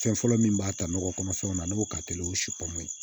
Fɛn fɔlɔ min b'a ta nɔgɔ kɔnɔ fɛnw na ne b'o ka teli o ye ye